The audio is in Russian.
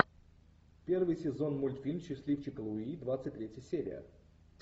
первый сезон мультфильм счастливчик луи двадцать третья серия